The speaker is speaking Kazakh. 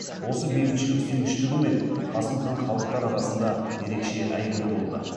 осы бейбітшіліксүйгіштігімен қасым хан халықтар арасында ерекше әйгілі болды